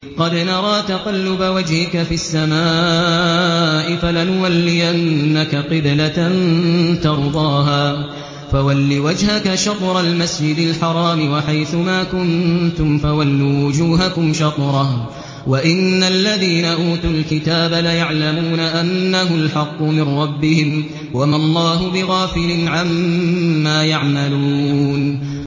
قَدْ نَرَىٰ تَقَلُّبَ وَجْهِكَ فِي السَّمَاءِ ۖ فَلَنُوَلِّيَنَّكَ قِبْلَةً تَرْضَاهَا ۚ فَوَلِّ وَجْهَكَ شَطْرَ الْمَسْجِدِ الْحَرَامِ ۚ وَحَيْثُ مَا كُنتُمْ فَوَلُّوا وُجُوهَكُمْ شَطْرَهُ ۗ وَإِنَّ الَّذِينَ أُوتُوا الْكِتَابَ لَيَعْلَمُونَ أَنَّهُ الْحَقُّ مِن رَّبِّهِمْ ۗ وَمَا اللَّهُ بِغَافِلٍ عَمَّا يَعْمَلُونَ